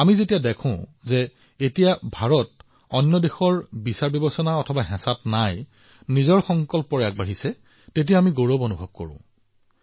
যেতিয়া আমি দেখিছোঁ যে ভাৰত এতিয়া আন দেশৰ চিন্তা আৰু চাপৰ অধীনত নহয় ই নিজৰ সংকল্পৰ দ্বাৰা আগবাঢ়িছে আমি সকলোৱে ইয়াকে লৈ গৌৰৱান্বিত